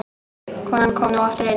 Konan kom nú aftur inn.